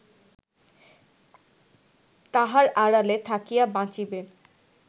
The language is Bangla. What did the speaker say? তাহার আড়ালে থাকিয়া বাঁচিবে